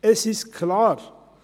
Es ist klar: